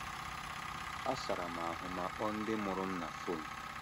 Asara m ahụ ma kpọọ ndị mụrụ m na phone